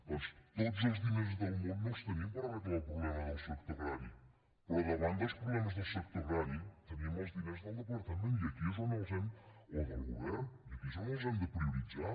doncs tots els diners del món no els tenim per arreglar el problema del sector agrari però davant dels problemes del sector agrari tenim els diners del departament o del govern i aquí és on els hem de prioritzar